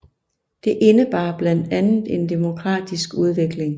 Det indebar blandt andet en demokratisk udvikling